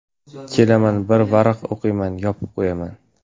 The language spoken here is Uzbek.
Kelaman, bir varaq o‘qiyman, yopib qo‘yaman.